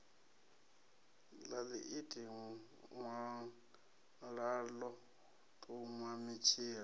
ḽa ḽiiti ṅwalaḽo ṱuṅwa mitshila